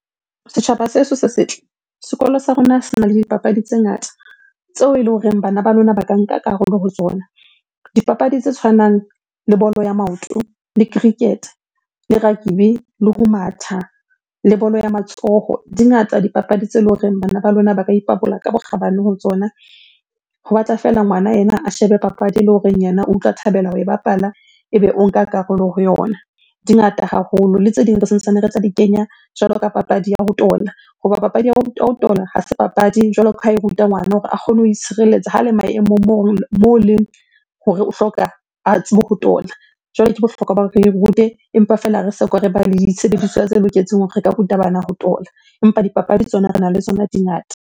Setjhaba sa heso se setle, sekolo sa rona sena le dipapadi tse ngata tseo eleng horeng bana ba lona ba ka nka karolo ho tsona. Dipapadi tse tshwanang le bolo ya maoto, le cricket, le rugby, le ho matha, le bolo ya matsoho. Di ngata dipapadi tse le horeng bana ba lona ba ka ipabola ka bokgabane ho tsona. Ho batla feela ngwana ena a shebe papadi ele horeng yena o utlwa thabela ho e bapala, ebe o nka karolo ho yona. Di ngata haholo, le tse ding re santsane re tla di kenya jwalo ka papadi ya ho tola. Hoba papadi ya ho tola ha se papadi jwalo ka ha e ruta ngwana hore a kgone ho itshireletsa ha le maemong moo leng hore o hloka a tsebe ho tola. Jwale ke bohlokwa ba rute, empa fela re soka re ba le disebediswa tse loketseng hore re ka ruta bana ho tola. Empa dipapadi tsona rena le tsona di ngata.